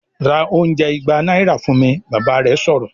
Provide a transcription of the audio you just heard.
"Ra oúnjẹ ìgbà náírà fún mi!", Bàbá rẹ̀ sọ̀rọ̀